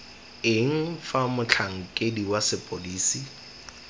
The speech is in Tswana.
eng fa motlhankedi wa sepodisi